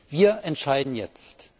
Wir entscheiden jetzt!